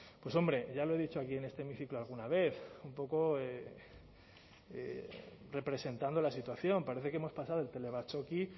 pues hombre ya lo he dicho aquí en este hemiciclo alguna vez un poco representando la situación parece que hemos pasado del telebatzoki